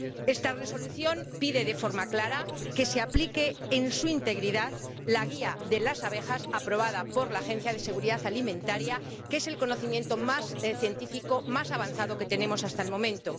Esta Resolución pide de forma clara que se aplique en su integridad las directrices sobre las abejas aprobadas por la Autoridad Europea de Seguridad Alimentaria, que es el conocimiento más científico, más avanzado, que tenemos hasta el momento.